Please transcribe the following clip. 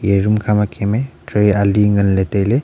eya dukan khama cheme tray ali nganley tailey.